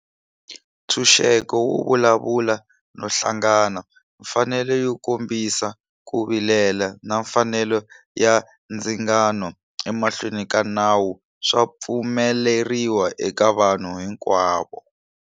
Ntshunxeko wo vulavula no hlangana, mfanelo yo kombisa ku vilela na mfanelo ya ndzingano emahlweni ka nawu swa pfumeleriwa eka vanhu hinkwavo.